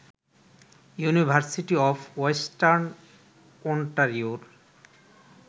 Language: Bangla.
university of Western ওন্টারিওর